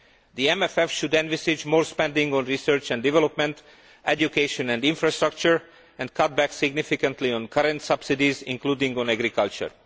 The MFF should envisage more spending on research and development, education and infrastructure, and cut back significantly on current subsidies, including on agriculture.